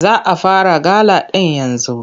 Za a fara gala ɗin yanzu.